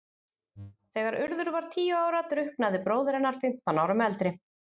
Þegar Urður var tíu ára drukknaði bróðir hennar, fimmtán árum eldri.